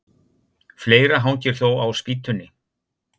Fleira hangir þó á spýtunni.